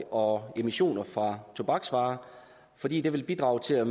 og emissioner fra tobaksvarer fordi det vil bidrage til at